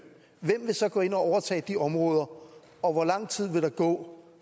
hvem vil så gå ind at overtage de områder og hvor lang tid vil der gå